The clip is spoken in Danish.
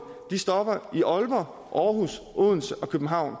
stopper i aalborg aarhus odense og københavn